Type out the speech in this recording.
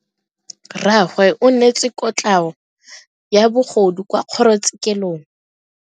Rragwe o neetswe kotlhao ya bogodu kwa kgoro tshekelong.